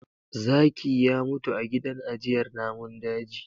Zaki ya mutu a gidan ajjiyar namun daji